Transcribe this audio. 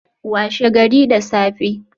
Washe gari da safe